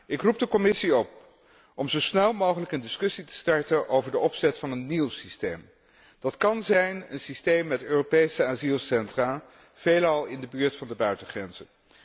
Ik roep de Commissie op om zo snel mogelijk een discussie te starten over de opzet van een nieuw systeem. Dat kan een systeem zijn met Europese asielcentra, veelal in de buurt van de buitengrenzen.